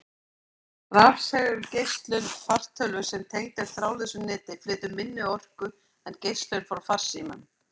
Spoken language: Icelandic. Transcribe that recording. Rafsegulgeislun fartölvu sem tengd er þráðlausu neti, flytur minni orku en geislun frá farsímum.